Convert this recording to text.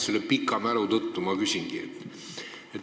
Selle pika mälu tõttu ma küsingi.